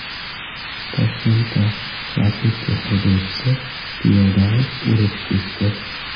Toshkentda Lacetti haydovchisi piyodani urib ketdi.